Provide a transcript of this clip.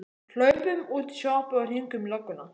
Hlaupum út í sjoppu og hringjum í lögguna!